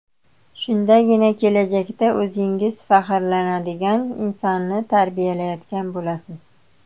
Shundagina kelajakda o‘zingiz faxrlanadigan insonni tarbiyalayotgan bo‘lasiz.